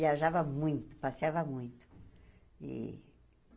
Viajava muito, passeava muito. E